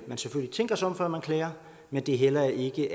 man selvfølgelig tænker sig om før man klager men det er heller ikke